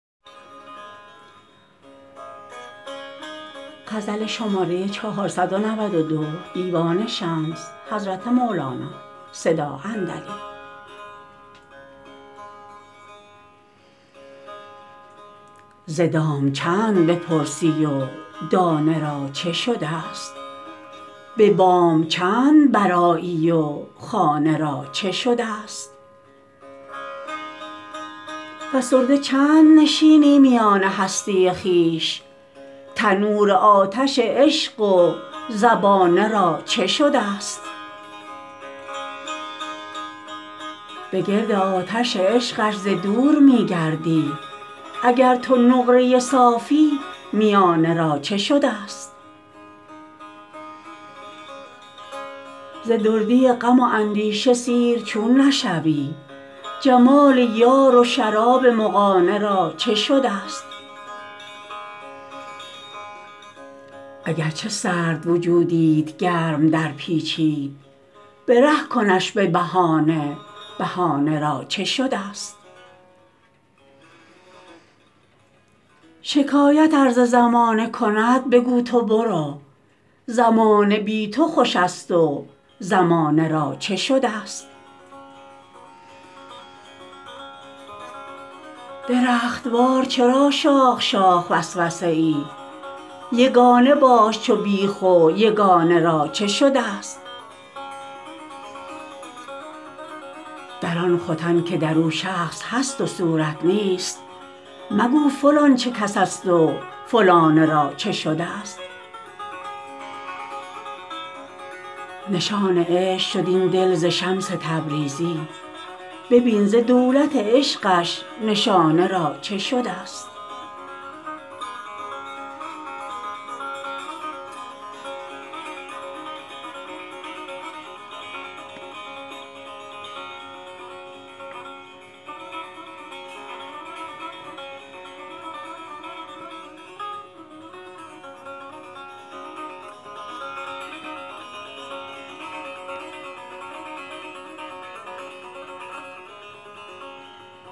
ز دام چند بپرسی و دانه را چه شدست به بام چند برآیی و خانه را چه شدست فسرده چند نشینی میان هستی خویش تنور آتش عشق و زبانه را چه شدست بگرد آتش عشقش ز دور می گردی اگر تو نقره صافی میانه را چه شدست ز دردی غم و اندیشه سیر چون نشوی جمال یار و شراب مغانه را چه شدست اگر چه سرد وجودیت گرم درپیچید به ره کنش به بهانه بهانه را چه شدست شکایت ار ز زمانه کند بگو تو برو زمانه بی تو خوشست و زمانه را چه شدست درخت وار چرا شاخ شاخ وسوسه ای یگانه باش چو بیخ و یگانه را چه شدست در آن ختن که در او شخص هست و صورت نیست مگو فلان چه کس است و فلانه را چه شدست نشان عشق شد این دل ز شمس تبریزی ببین ز دولت عشقش نشانه را چه شدست